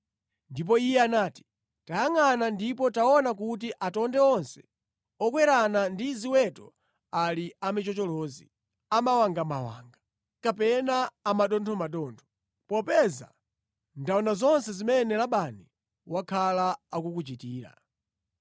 Ndipo iye anati, ‘Tayangʼana ndipo taona kuti atonde onse okwerana ndi ziweto ali amichocholozi, amawangamawanga kapena a mathothomathotho, popeza ndaona zonse zimene Labani wakhala akukuchitira.